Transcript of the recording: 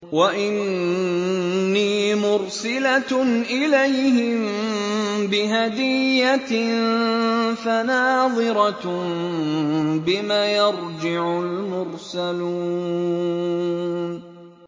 وَإِنِّي مُرْسِلَةٌ إِلَيْهِم بِهَدِيَّةٍ فَنَاظِرَةٌ بِمَ يَرْجِعُ الْمُرْسَلُونَ